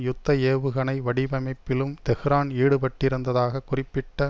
யுத்த ஏவுகணை வடிவமைப்பிலும் தெஹ்ரான் ஈடுபட்டிருந்ததாக குறிப்பிட்ட